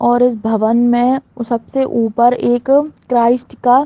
और इस भवन में सबसे ऊपर एक क्राइस्ट का --